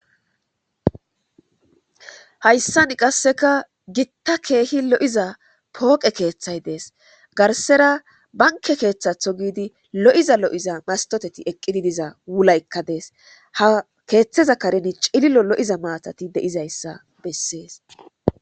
hayssan qasseka gitta keehi lo7iza pooqe keeththay dees garsera banke keeththatho giidi lo7iza lo7iza mastoteti eqqidi diza wulaykka dees ha keeththeza kareni cililo lo7iza maatati de7izayssa bessees